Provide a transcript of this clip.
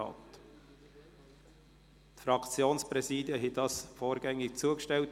Den Fraktionspräsidien wurde dies vorgängig zugestellt;